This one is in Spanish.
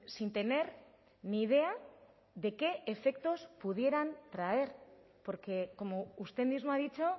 sin tener ni idea de qué efectos pudieran traer porque como usted mismo ha dicho